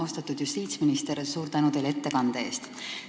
Austatud justiitsminister, suur tänu teile ettekande eest!